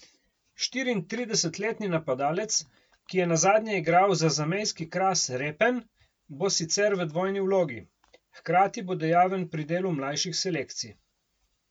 Štiriintridesetletni napadalec, ki je nazadnje igral za zamejski Kras Repen, bo sicer v dvojni vlogi, hkrati bo dejaven pri delu mlajših selekcij.